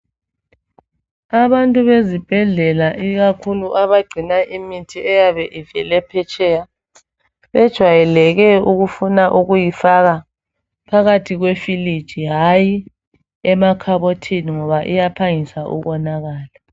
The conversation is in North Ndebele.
Abantu bezibhedlela ikakhulu abagcina imithi eyabe ivele phetsheya, bejwayeleke ukufuna ukuyifaka phakathi kwefiliji hayi emakhabothini ngoba iyaphangisa ukonakala.